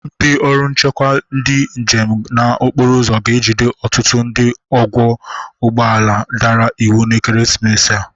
Ndị ọrụ nchekwa ndị njem na okporoụzọ ga-ejide ọtụtụ ndị ọgwọ ụgbọala dara iwu n'ekeresimesi a.